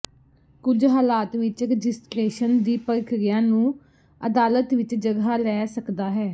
ਕੁਝ ਹਾਲਾਤ ਵਿੱਚ ਰਜਿਸਟਰੇਸ਼ਨ ਦੀ ਪ੍ਰਕਿਰਿਆ ਨੂੰ ਅਦਾਲਤ ਵਿਚ ਜਗ੍ਹਾ ਲੈ ਸਕਦਾ ਹੈ